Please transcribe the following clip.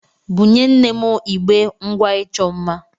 Bunye nne m igbé ngwá ịchọ mma.